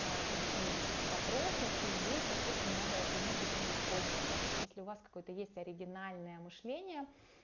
решение о каких-то вопросов и здесь соответственно надо эту энергию тоже использовать да то есть если у вас какой-то есть оригинальное мышление